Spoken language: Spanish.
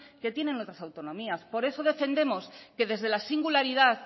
que tienen otras autonomías por eso defendemos que desde la singularidad